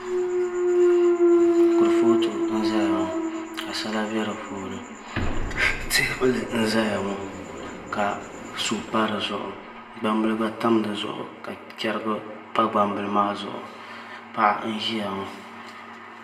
Kurifooti n ʒɛya maa ka sala bɛ di puuni teebuli n ʒɛya ŋo ka suu pa dizuɣu gbambili gba pa dizuɣu ka chɛrigi pa gbambili maa zuɣu paɣa n ʒiya ŋo